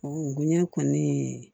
Ɔ gomi ne kɔni